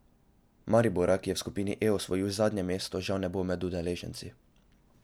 Maribora, ki je v skupini E osvojil zadnje mesto, žal ne bo med udeleženci ...